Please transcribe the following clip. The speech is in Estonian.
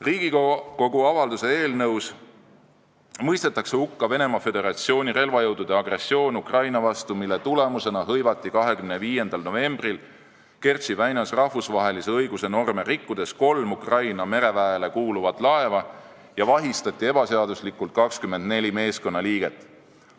Riigikogu avalduse eelnõus mõistetakse hukka Venemaa Föderatsiooni relvajõudude agressioon Ukraina vastu, mille tulemusena hõivati 25. novembril Kertši väinas rahvusvahelise õiguse norme rikkudes kolm Ukraina mereväele kuuluvat laeva ja vahistati ebaseaduslikult 24 meeskonnaliiget.